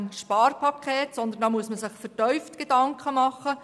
Darüber muss man sich vertieft Gedanken machen.